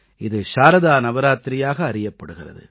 இது சாரதா நவராத்திரியாக அறியப்படுகிறது